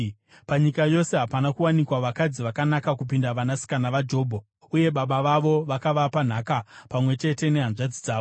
Panyika yose hapana kuwanikwa vakadzi vakanaka kupinda vanasikana vaJobho, uye baba vavo vakavapa nhaka pamwe chete nehanzvadzi dzavo.